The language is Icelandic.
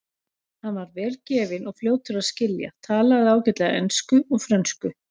Hann var vel gefinn og fljótur að skilja, talaði ágætlega ensku og frönsku.